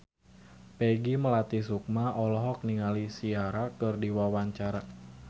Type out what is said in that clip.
Peggy Melati Sukma olohok ningali Ciara keur diwawancara